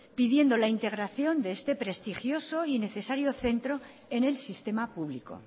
pidiendo la integración de este prestigioso y necesario centro en el sistema público